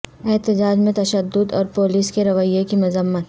احتجاج میں تشدد اور پولس کے رویے کی مذمت